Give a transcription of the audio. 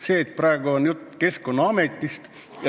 See, et praegu on jutt Keskkonnaametist ...